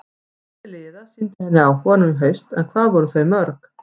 Fjöldi liða sýndi henni áhuga nú í haust en hvað voru þau mörg?